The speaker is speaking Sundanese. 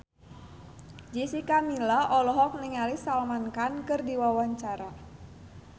Jessica Milla olohok ningali Salman Khan keur diwawancara